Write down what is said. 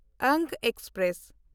Anga express